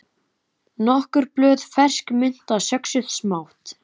Nokkur blöð fersk mynta söxuð smátt